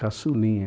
Caçulinha.